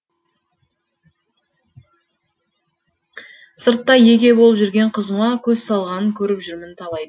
сырттай еге болып жүрген қызыма көз салғанын көріп жүрмін талайдың